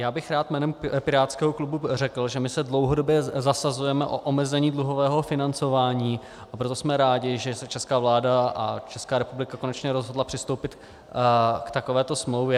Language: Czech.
Já bych rád jménem pirátského klubu řekl, že my se dlouhodobě zasazujeme o omezení dluhového financování, a proto jsme rádi, že se česká vláda a Česká republika konečně rozhodla přistoupit k takovéto smlouvě.